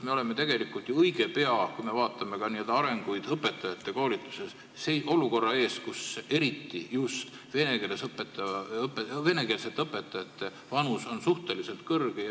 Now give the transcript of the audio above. Me oleme tegelikult ju õige pea – vaatame ka arenguid õpetajakoolituses – olukorra ees, kus eriti just venekeelsete õpetajate vanus on suhteliselt kõrge.